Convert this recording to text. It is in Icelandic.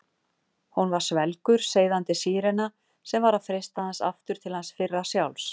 Hún var svelgur, seiðandi sírena sem var að freista hans aftur til hans fyrra sjálfs.